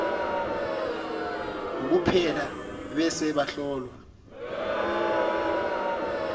kuphela bese bahlolwa